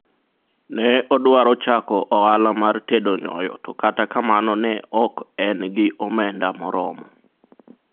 ne odwaro chako ohala mar tedo nyoyo to kata kamano ne ok en gi omenda moromo